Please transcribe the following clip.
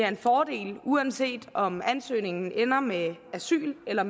en fordel uanset om ansøgningen ender med asyl eller